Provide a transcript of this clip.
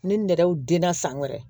Ne nɛgɛw den na san wɛrɛ